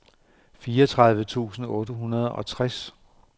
fireogtredive tusind otte hundrede og tres